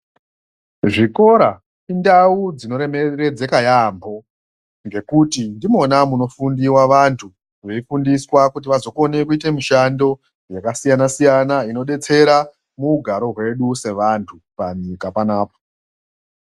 Zvikora indau dzinoremeredzeka yaambho ngekuti munofundiwa, vantu veifundiswa kuti vanokone kuite mishando yakasiyana-siyana indodetsera muugaro hwedu sevantu panyika panapa.